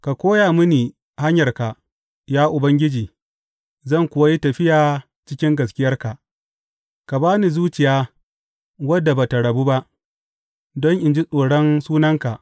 Ka koya mini hanyarka, ya Ubangiji, zan kuwa yi tafiya cikin gaskiyarka; ka ba ni zuciya wadda ba tă rabu ba, don in ji tsoron sunanka.